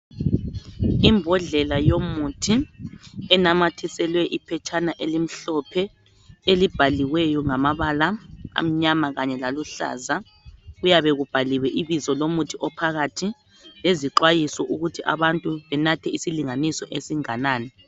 Imbodlela yomuthi enamathiselwe iphetshana elimhlophe elibhaliweyo ngamabala amnyama kanye laluhlaza. Kuyabe kubhaliwe ibizo lomuthi ophakathi lezixhayiso ukuthi abantu benathe isilinganiso esinganani.